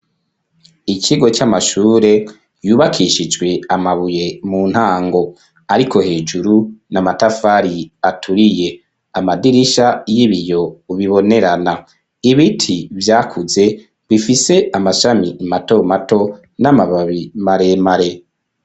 Ikigo c'amashure yubakishijwe amabuye mu ntango. Ariko hejuru ni amatafari aturiye. Amadirisha y'ibiyo bibonerana. Ibiti vyakuze bifise amashami matomato n'amababi maremare.